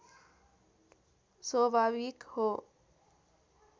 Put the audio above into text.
स्वभाविक हो